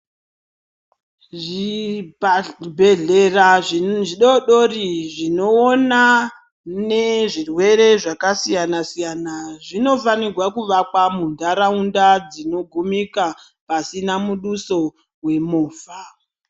Zvibhedhlera zvidodori zvinoona zvirwere zvakasiyana siyana zvinofanirwa kuvakwa munharaunda dzinogumika pasina muduso wemovha.